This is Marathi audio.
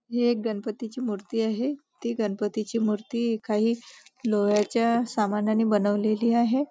हे एक गणपतीची मूर्ती आहे ती गणपतीची मूर्ती काही लोहाच्या सामानानी बनवलेली आहे.